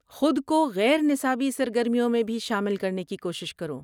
خود کو غیر نصابی سرگرمیوں میں بھی شامل کرنے کی کوشش کرو۔